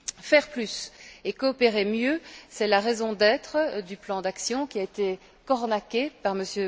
Faire plus et coopérer mieux, c'est la raison d'être du plan d'action qui a été cornaqué par M.